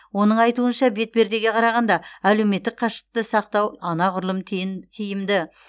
оның айтуынша бетпердеге қарағанда әлеуметтік қашықтықты сақтау анағұрлым тиімді